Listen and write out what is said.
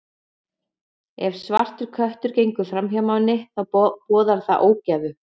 Ef svartur köttur gengur fram hjá manni, þá boðar það ógæfu.